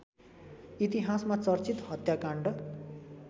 इतिहासमा चर्चित हत्याकाण्ड